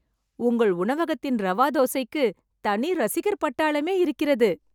உங்கள் உணவகத்தின் ரவா தோசைக்கு தனி ரசிகர் பட்டாளமே இருக்கிறது